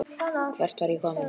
Hvert var ég kominn?